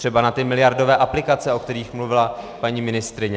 Třeba na ty miliardové aplikace, o kterých mluvila paní ministryně.